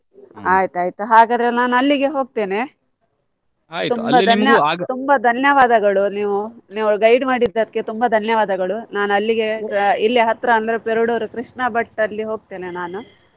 ಆಯ್ತಾಯ್ತು ಹಾಗಾದ್ರೆ ನಾನು ಅಲ್ಲಿಗೆ ಹೋಗ್ತೇನೆ ತುಂಬಾ ಧನ್ಯ~ ತುಂಬಾ ಧನ್ಯವಾದಗಳು ನೀವು guide ಮಾಡಿದ್ದಕ್ಕೆ ತುಂಬಾ ಧನ್ಯವಾದಗಳು ನಾನು ಅಲ್ಲಿಗೆ ಇಲ್ಲೇ ಹತ್ರ ಅಂದ್ರೆ ಪೆರ್ಡೂರ್ ಕೃಷ್ಣ ಭಟ್ ಅಲ್ಲಿ ಹೋಗ್ತೇನೆ ನಾನು.